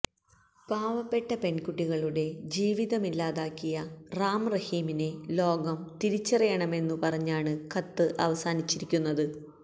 പാവപ്പെട്ട പെണ്കുട്ടികളുടെ ജീവിതമില്ലാതാക്കിയ റാം റഹീമിനെ ലോകം തിരിച്ചറിയണമെന്നു പറഞ്ഞാണ് കത്ത് അവസാനിപ്പിച്ചിരിക്കുന്നത്